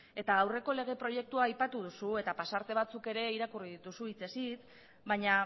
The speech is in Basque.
eta aurreko lege proiektua aipatu duzu eta pasarte batzuk ere irakurri dituzu hitzez hitz baina